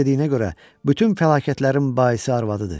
Onun dediyinə görə, bütün fəlakətlərin baisi arvadıdır.